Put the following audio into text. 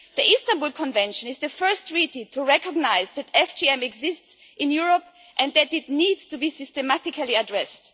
The Istanbul Convention is the first treaty to recognise that FGM exists in Europe and that it needs to be systematically addressed.